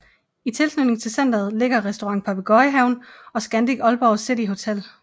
I tilknytning til centret ligger Restaurant Papegøjehaven og Scandic Aalborg City Hotel